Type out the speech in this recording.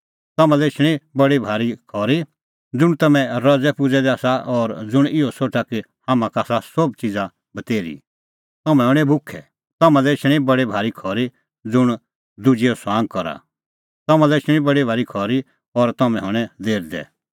तम्हां लै एछणी बडी भारी खरी ज़ुंण तम्हैं रज़ैपुज़ै दै आसा और ज़ुंण इहअ सोठा कि हाम्हां का आसा सोभ च़िज़ा बतेर्ही तम्हैं हणैं भुखै तम्हां लै एछणी बडी भारी खरी ज़ुंण दुजैओ ठठअ करा तम्हां लै एछणी बडी भारी खरी और तम्हैं हणैं लेरदै